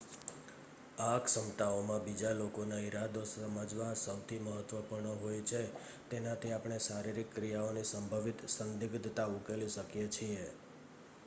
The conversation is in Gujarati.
આ ક્ષમતાઓમાં બીજા લોકોના ઇરાદા સમજવા સૌથી મહત્ત્વપૂર્ણ હોય છે તેનાથી આપણે શારીરિક ક્રિયાઓની સંભવિત સંદિગ્ધતા ઉકેલી શકીએ છીએ